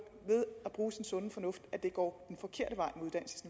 når sin sunde fornuft at det går